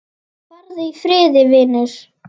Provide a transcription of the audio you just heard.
Farðu í friði, vinur.